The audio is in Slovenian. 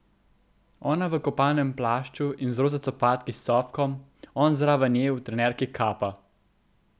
Ona v kopalnem plašču in z roza copatki s cofkom, on zraven nje v trenirki kappa.